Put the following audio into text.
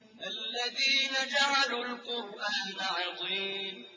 الَّذِينَ جَعَلُوا الْقُرْآنَ عِضِينَ